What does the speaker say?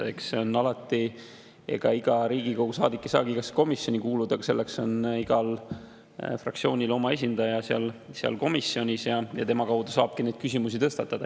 Eks see on alati nii, et iga Riigikogu saadik ei saagi igasse komisjoni kuuluda, aga igal fraktsioonil on oma esindaja komisjonis olemas ja tema kaudu saabki küsimusi tõstatada.